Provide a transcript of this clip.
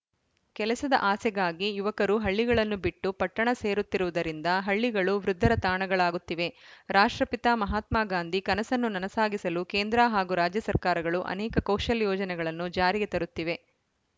ಕೆಲಸದ ಆಸೆಗಾಗಿ ಯುವಕರು ಹಳ್ಳಿಗಳನ್ನು ಬಿಟ್ಟು ಪಟ್ಟಣ ಸೇರುತ್ತಿರುವುದರಿಂದ ಹಳ್ಳಿಗಳು ವೃದ್ಧರ ತಾಣಗಳಾಗುತ್ತಿವೆ ರಾಷ್ಟ್ರಪಿತ ಮಹಾತ್ಮಗಾಂಧಿ ಕನಸನ್ನು ನನಸಾಗಿಸಲು ಕೇಂದ್ರ ಹಾಗೂ ರಾಜ್ಯ ಸರ್ಕಾರಗಳು ಅನೇಕ ಕೌಶಲ್ಯ ಯೋಜನೆಗಳನ್ನು ಜಾರಿಗೆ ತರುತ್ತಿವೆ